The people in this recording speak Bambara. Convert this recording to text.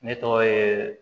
Ne tɔgɔ ye